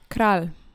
Kralj!